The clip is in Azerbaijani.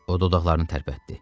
O dodaqlarını tərpətdi.